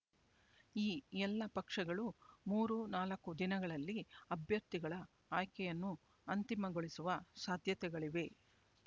ಈ ಎಲ್ಲ ಪಕ್ಷಗಳು ಮೂರು ನಾಲ್ಕು ದಿನಗಳಲ್ಲಿ ಅಭ್ಯರ್ಥಿಗಳ ಆಯ್ಕೆಯನ್ನು ಅಂತಿಮಗೊಳಿಸುವ ಸಾಧ್ಯತೆಗಳಿವೆ